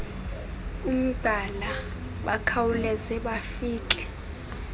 umgqala bakhawuleze bafike